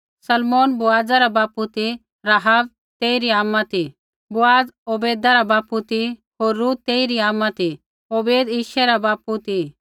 सलमोन बोअज़ा रा बापू ती राहाब तेइरी आमा ती बोअज़ ओबैदा रा बापू ती होर रूत तेइरी आमा ती ओबैद यिशै रा बापू ती